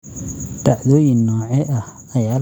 Dhacdooyin noocee ah ayaa laga qorsheeyay aaggayga?